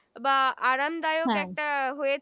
বা আরামদায়ক একটা হয়ে